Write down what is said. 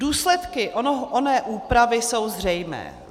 Důsledky oné úpravy jsou zřejmé.